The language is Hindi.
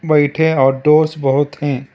बैठे और दोस्त बहुत हैं।